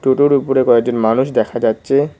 টোটোর উপরে কয়েকজন মানুষ দেখা যাচ্ছে।